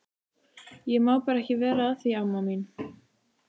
Ég má bara ekki vera að því amma mín.